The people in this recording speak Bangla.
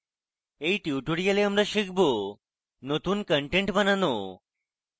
in tutorial আমরা শিখব: নতুন কন্টেন্ট বানানো